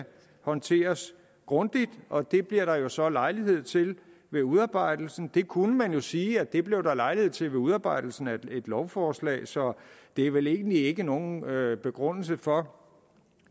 håndteres grundigt og det bliver der jo så lejlighed til ved udarbejdelsen det kunne man jo sige at der blev lejlighed til ved udarbejdelsen af et lovforslag så det er vel egentlig ikke nogen begrundelse for